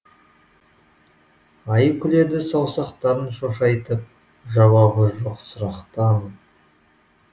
ай күледі саусақтарын шошайтып жауабы жоқ сұрақтан